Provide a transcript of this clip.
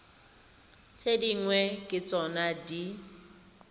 tse dingwe ke tsona di